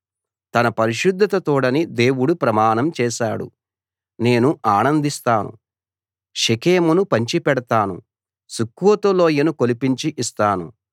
తన పరిశుద్ధత తోడని దేవుడు ప్రమాణం చేశాడు నేను ఆనందిస్తాను షెకెమును పంచిపెడతాను సుక్కోతు లోయను కొలిపించి ఇస్తాను